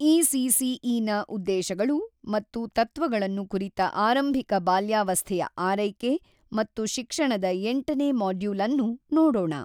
ಇಸಿಸಿಇನ ಉದ್ದೇಶಗಳು ಮತ್ತು ತತ್ವಗಳನ್ನು ಕುರಿತ ಆರಂಭಿಕ ಬಾಲ್ಯಾವಸ್ಥೆಯ ಆರೈಕೆ ಮತ್ತು ಶಿಕ್ಷಣದ ಎಂಟು ನೇ ಮಾಡ್ಯೂಲ್ ಅನ್ನು ನೋಡೋಣ.